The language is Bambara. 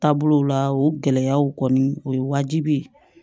Taabolow la o gɛlɛyaw kɔni o ye wajibi ye